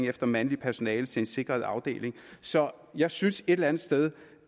efter mandligt personale til en sikret afdeling så jeg synes et eller andet sted